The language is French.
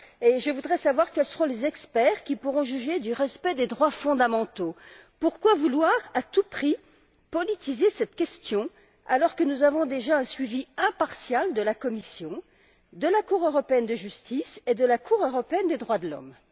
Je voudrais savoir quels seront les experts qui pourront juger du respect des droits fondamentaux. Pourquoi vouloir à tout prix politiser cette question, alors que nous avons déjà un suivi impartial de la Commission, de la Cour de justice de l'Union européenne et de la Cour européenne des droits de l'homme?